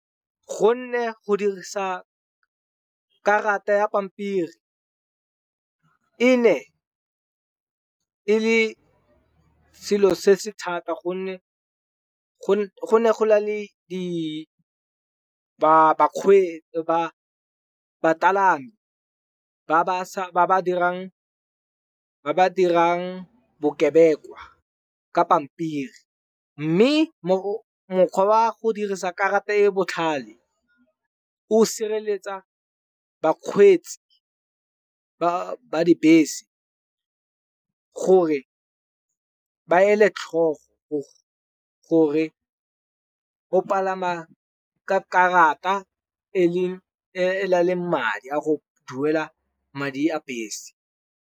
Gonne go dirisa karata ya pampiri, e ne e le selo se se thata gonne go ne go na le ba bapalami. Ba ba dirang bokebekwa ka pampiri. Mme mokgwa wa go dirisa karata e e botlhale o sireletsa bakgweetsi ba dibese, gore ba ele tlhogo gore o palama ka karata e na leng madi a go duela madi a bese.